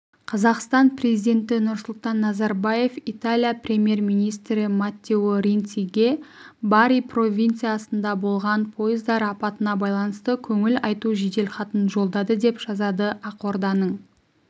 қазақстан президенті нұрсұлтан назарбаев италия премьер-министрі маттео ренциге бари провинциясында болған пойыздар апатына байланысты көңіл айту жеделхатын жолдады деп жазады ақорданың